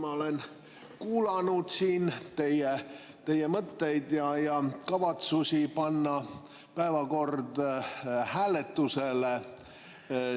Ma olen kuulanud siin teie mõtteid ja kavatsusi panna päevakord hääletusele.